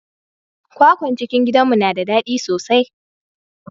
kwakwan cikin gidanmu na da dadi sosai.